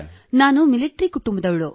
ನಾನು ಮಿಲಿಟರಿ ಕುಟುಂಬದವಳು